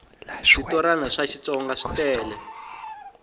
switorana swa xitsonga switele